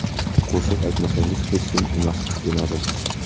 Qo‘shiq aytmasangiz, hech kim emassiz, demadim.